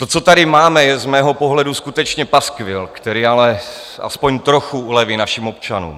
To, co tady máme, je z mého pohledu skutečně paskvil, který ale aspoň trochu uleví našim občanům.